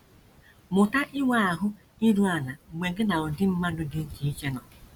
Mụta inwe ahụ́ iru ala mgbe gị na ụdị mmadụ dị iche iche nọ